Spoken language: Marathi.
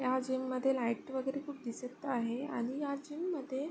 या जीम मध्ये लाइट वेगेरे खूप दिसत आहे आणि या जीममध्ये --